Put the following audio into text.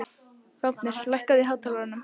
Fáfnir, lækkaðu í hátalaranum.